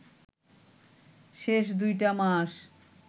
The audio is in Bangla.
শেষ দুইটা মাস